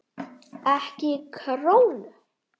EKKI KRÓNU?